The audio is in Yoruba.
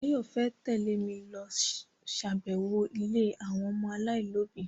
Báyọ̀ fẹ́ tẹ́lẹ̀ mi lọ ṣàbẹ̀wọ̀ ilé àwọn ọmọ aláìlóbi